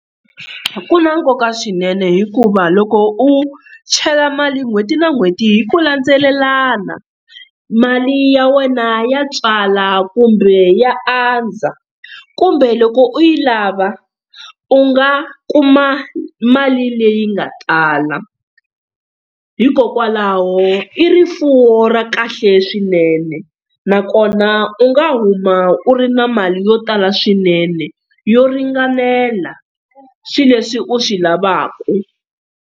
Ku na nkoka swinene hikuva loko u chela mali n'hweti na n'hweti hi ku landzelelana mali ya wena ya tswala kumbe ya andza kumbe loko u yi lava u nga kuma mali leyi nga tala hikokwalaho i rifuwo ra kahle swinene na kona u nga huma u ri na mali yo tala swinene yo ringanela swilo leswi u swi lavaka.